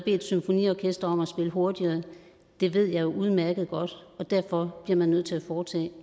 et symfoniorkester om at spille hurtigere det ved jeg udmærket godt og derfor bliver man nødt til at foretage